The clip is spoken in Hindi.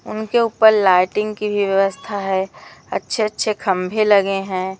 उनके ऊपर लाइटिंग की भी व्यवस्था है अच्छे अच्छे खंभे लगें है।